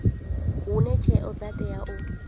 hune tsheo dza tea u